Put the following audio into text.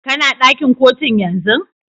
Kana dakin Kotun yanzun?